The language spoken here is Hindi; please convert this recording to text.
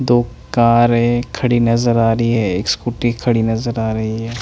दो कारे खड़ी नज़र आ रही है एक स्कूटी खड़ी नज़र आ रही है।